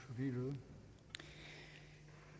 ja